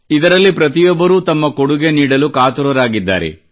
ಇದರಲ್ಲಿ ಪ್ರತಿಯೊಬ್ಬರೂ ತಮ್ಮ ಕೊಡುಗೆ ನೀಡಲು ಕಾತುರರಾಗಿದ್ದಾರೆ